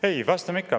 Ei, vastame ikka.